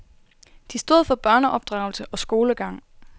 De stod for børneopdragelse og skolegang.